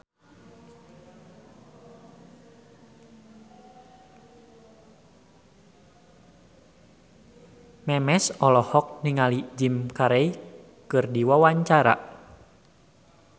Memes olohok ningali Jim Carey keur diwawancara